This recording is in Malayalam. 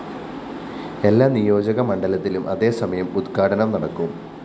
എല്ലാ നിയോജക മണ്ഡലത്തിലും അതേസമയം ഉദ്ഘാടനം നടക്കും